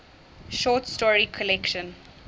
short story collection